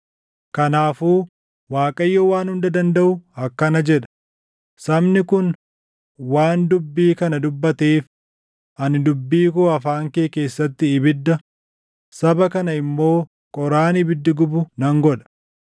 Kanaafuu Waaqayyo Waan Hunda Dandaʼu akkana jedha: “Sabni kun waan dubbii kana dubbateef, ani dubbii koo afaan kee keessatti ibidda, saba kana immoo qoraan ibiddi gubu nan godha.